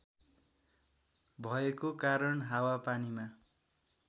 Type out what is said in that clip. भएको कारण हावापानीमा